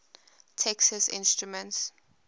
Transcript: texas instruments